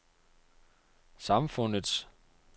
samfundets